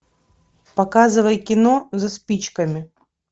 показывай кино за спичками